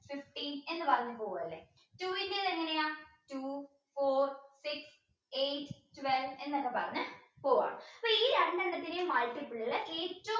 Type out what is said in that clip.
fifteen എന്ന് പറഞ്ഞ് പോവല്ലേ two ന്റേത് എങ്ങനെയാ two four six eight twelve എന്നൊക്കെ പറഞ്ഞു പോവാണ് അപ്പോൾ ഈ രണ്ടെണ്ണത്തിന്റെയും multiple